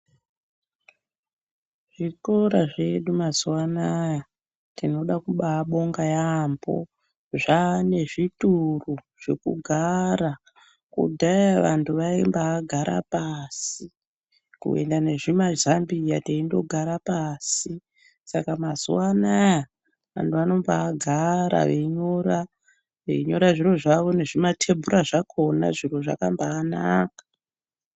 Zvikora zvedu mazuwa anaya tinoda kubabonga yampho zvane zvituru zvekugara kudhaya vantu vaimbagara pashi kuenda nezvimazambiya teindogara pashi saka mazuwa anaya vantu vanombagara veinyora zviro zvavo nezvimatebhura zvakona veinyora zvakabanaka.